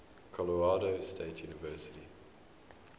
colorado state university